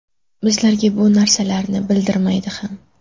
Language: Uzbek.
Bizlarga bu narsalarni bildirmaydi ham.